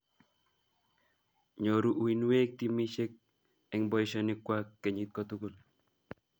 Nyoru uinweek timishek en poishonikwak kenyit kotugul